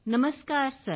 Namaskar sir